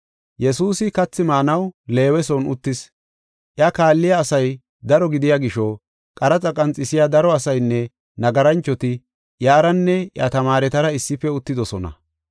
Yesuusi kathi maanaw Leewe son uttis. Iya kaalliya asay daro gidiya gisho, qaraxa qanxisiya daro asaynne nagaranchoti iyaranne iya tamaaretara issife uttidosona.